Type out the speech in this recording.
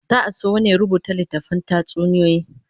Za'a so wani ya rubuta littafin tatsuniyoyi